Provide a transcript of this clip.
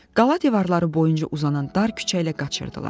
Qala divarları boyunca uzanan dar küçə ilə qaçırdılar.